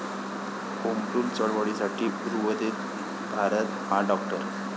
Home Rule चळवळीसाठी उर्वरित भारत हा डॉ.